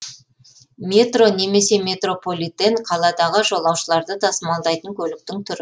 метро немесе метрополитен қаладағы жолаушыларды тасымалдайтын көліктің түрі